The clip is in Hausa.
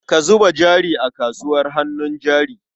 Ka zuba jari a kasuwar hannun jari.